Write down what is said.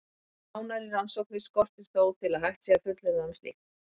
Nánari rannsóknir skortir þó til að hægt sé að fullyrða um slíkt.